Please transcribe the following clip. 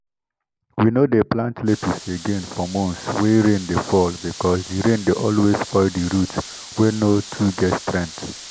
we no dey plant lettuce again for months wey rain dey fall because the rain dey always spoil the root wey no too get strength.